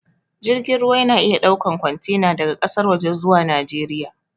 Jirgin ruwa ya na iya ɗaukan kwantena daga ƙasar waje zuwa najeriya